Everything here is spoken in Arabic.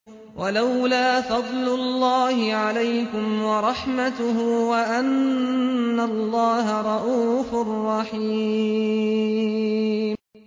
وَلَوْلَا فَضْلُ اللَّهِ عَلَيْكُمْ وَرَحْمَتُهُ وَأَنَّ اللَّهَ رَءُوفٌ رَّحِيمٌ